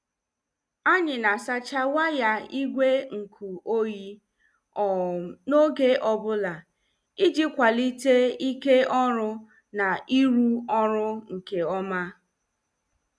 Anyị na- asacha waya igwe nkụ oyi um n' oge ọbụla, iji kwalite ike ọrụ na iru ọrụ nke ọma.